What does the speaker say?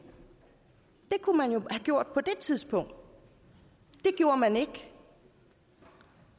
det kunne man jo have gjort på det tidspunkt det gjorde man ikke